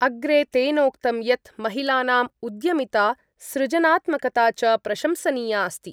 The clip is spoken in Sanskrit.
अग्रे तेनोक्तं यत् महिलानां उद्यमिता सृजनात्मकता च प्रशंसनीयास्ति।